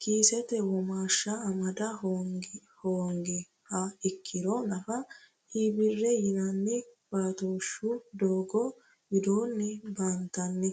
kiisete womaashsha amada hoongiha ikkirro nafa iibiri yinanni batooshu doogo widoonni baantanni.